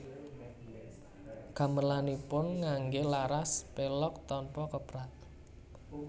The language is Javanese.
Gamelanipun nganggé laras pelog tanpa keprak